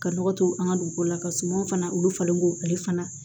Ka nɔgɔ to an ka dugu la ka sumanw fana olu falen k'o ale fana